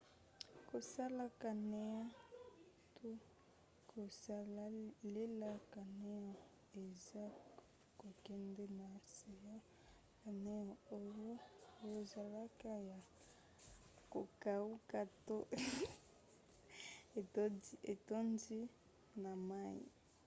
kosala canoe to: kosalela canoe eza kokende na se ya canoe oyo ezalaka ya kokauka to etondi na mai